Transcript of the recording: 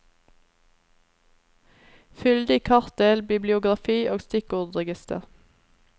Fyldig kartdel, bibliografi og stikkordregister.